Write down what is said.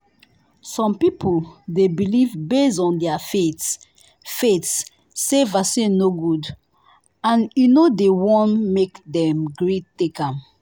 some people they believe base on their faith faith say vaccine no good and e no dey won make dem gree take am.